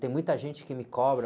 Tem muita gente que me cobra.